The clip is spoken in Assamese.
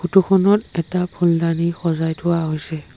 ফটো খনত এটা ফুলদনি সজাই থোৱা হৈছে।